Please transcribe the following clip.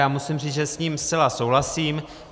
Já musím říct, že s ním zcela souhlasím.